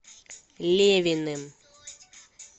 левиным